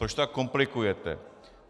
Proč to tak komplikujete?